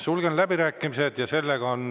Sulgen läbirääkimised.